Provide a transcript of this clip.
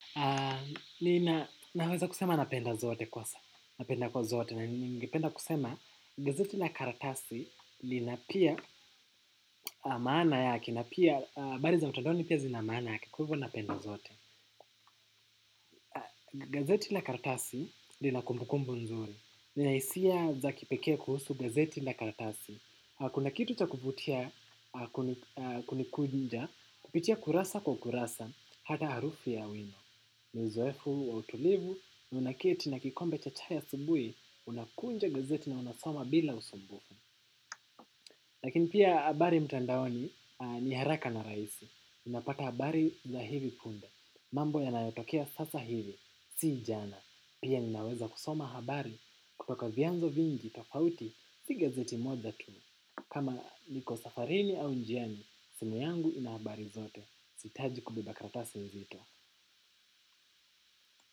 Ninaweza kusema napenda zote kwanza, napenda kwa zote, na ningependa kusema gazeti la karatasi lina pia maana yake, na pia habari za mtandaoni pia zina maana yake kwa hivyo napenda zote. Gazeti la karatasi lina kumbukumbu nzuri, nina hisia za kipekee kuhusu gazeti la karatasi. Kuna kitu cha kuvutia kunikunja, kupitia kurasa kwa kurasa, hata harufi ya wino. Ni uzoefu wa utulivu, na unaketi na kikombe cha chai asubuhi, unakunja gazeti na unasoma bila usumbufu. Lakini pia habari mtandaoni ni haraka na rahisi. Unapata habari za hivi punde. Mambo yanayotokea sasa hivi, si jana. Pia ninaweza kusoma habari kutoka vyanzo vingi tofauti, si gazeti moja tu. Kama niko safarini au njiani, simu yangu ina habari zote. Sihitaji kubeba karatasi nzito.